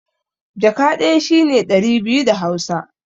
Jaka ɗaya shi ne ɗari biyu da Hausa.